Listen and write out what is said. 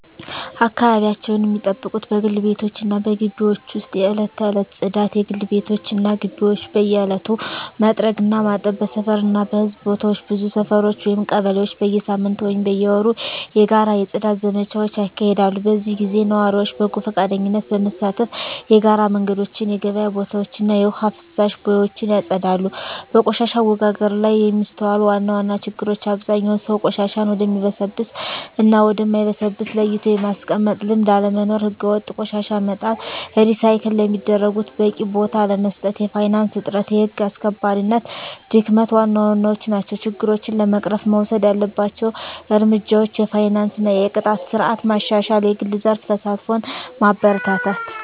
አካባቢያቸውን ሚጠብቁት በግል ቤቶች እና በግቢዎች ውስጥ የዕለት ተዕለት ጽዳት: የግል ቤቶች እና ግቢዎች በየዕለቱ መጥረግ እና ማጠብ። በሰፈር እና በሕዝብ ቦታዎች ብዙ ሰፈሮች (ቀበሌዎች) በየሳምንቱ ወይም በየወሩ የጋራ የጽዳት ዘመቻዎች ያካሂዳሉ። በዚህ ጊዜ ነዋሪዎች በጎ ፈቃደኝነት በመሳተፍ የጋራ መንገዶችን፣ የገበያ ቦታዎችን እና የውሃ ፍሳሽ ቦዮችን ያጸዳሉ። በቆሻሻ አወጋገድ ላይ የሚስተዋሉ ዋና ዋና ችግሮች አብዛኛው ሰው ቆሻሻን ወደሚበሰብስ እና ወደ ማይበሰብስ ለይቶ የማስቀመጥ ልምድ አለመኖር። ሕገወጥ ቆሻሻ መጣል፣ ሪሳይክል ለሚደረጉት በቂ ቦታ አለመስጠት፣ የፋይናንስ እጥረት፣ የህግ አስከባሪነት ድክመት ዋና ዋናዎቹ ናቸው። ችግሮችን ለመቅረፍ መወሰድ ያለባቸው እርምጃዎች የፋይናንስ እና የቅጣት ስርዓት ማሻሻል፣ የግል ዘርፍ ተሳትፎን ማበረታታት፣ …